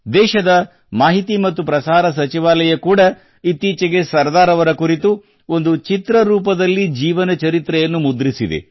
ದೇಶದ ಮಾಹಿತಿ ಮತ್ತು ಪ್ರಸಾರ ಸಚಿವಾಲಯ ಕೂಡ ಇತ್ತೀಚೆಗೆ ಸರ್ದಾರ್ ಅವರ ಕುರಿತು ಒಂದು ಚಿತ್ರ ರೂಪದ ಜೀವನ ಚರಿತ್ರೆಯನ್ನು ಮುದ್ರಿಸಿದೆ